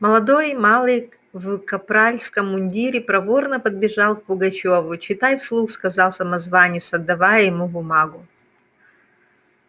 молодой малый в капральском мундире проворно подбежал к пугачёву читай вслух сказал самозванец отдавая ему бумагу